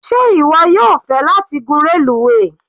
Sé ìwọ yóò fẹ́ láti gún reluwe.?